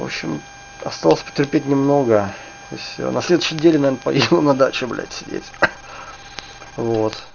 вообщем осталось потерпеть немного и все на следующей неделе наверное поеду на дачу блять сидеть вот